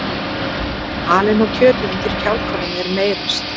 Halinn og kjötið undir kjálkanum er meyrast.